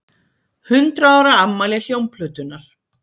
Hundrað ára afmæli hljómplötunnar